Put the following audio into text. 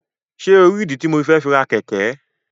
Ṣe o ri ìdí tí mo fẹ fi ra. kẹkẹ?